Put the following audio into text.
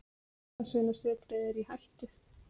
Jólasveinasetrið er í hættu.